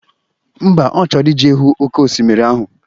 Ḿbà, Ọ chọrọ ije hụ oke osimiri ahụ